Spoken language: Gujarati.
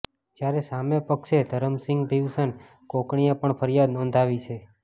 જયારે સામે પક્ષે ધરમસિંગ ભીવસન કોકણીએ પણ ફરિયાદ નોંધાવી છે